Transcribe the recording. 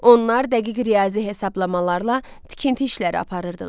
Onlar dəqiq riyazi hesablamalarla tikinti işləri aparırdılar.